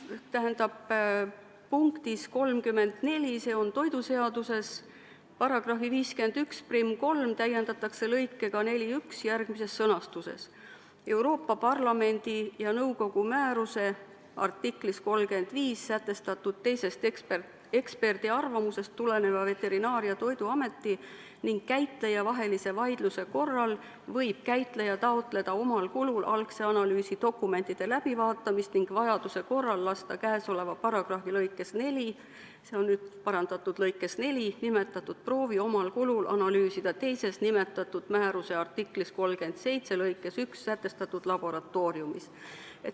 Punktis 34, s.o toiduseaduses, § 513 täiendatakse lõikega 41 järgmises sõnastuses: Euroopa Parlamendi ja nõukogu määruse artiklis 35 sätestatud teisest eksperdiarvamusest tuleneva Veterinaar- ja Toiduameti ning käitleja vahelise vaidluse korral võib käitleja taotleda omal kulul algse analüüsi dokumentide läbivaatamist ning vajaduse korral lasta käesoleva paragrahvi lõikes 4 – parandatud lõikes 4 – nimetatud proovi omal kulul analüüsida teises, nimetatud määruse artikli 37 lõikes 1 sätestatud laboratooriumis.